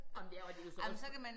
Ej men det er og det jo så også